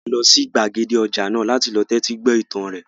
A lọ sí gbàgede ọjà náà láti lọ tẹ́tí gbọ́ ìtàn rẹ̀